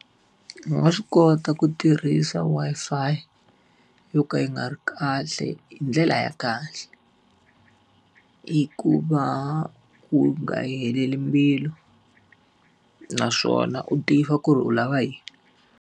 Va nga swi kota ku tirhisa Wi-Fi yo ka yi nga ri kahle hi ndlela ya kahle. Hi ku va u nga yi heleli mbilu naswona u tiva ku ri u lava yini.